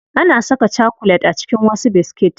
Ana saka chakulet a cikin wasu biskit.